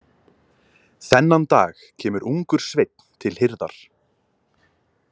Þennan dag kemur ungur sveinn til hirðar.